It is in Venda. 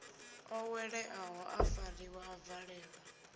oweleaho a fariwa a valelwa